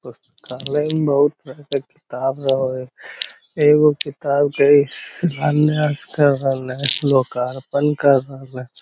पुस्तकालय में बहुत तरह के किताब रह हई एगो किताब लोकार्पण कर रहलए |